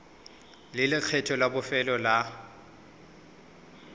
le lekgetho la bofelo la